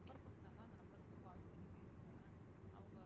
நான் ஒரு number கொடுத்தேன்ல அந்த number க்கு call பண்ணி பேசுங்க அவங்க வந்து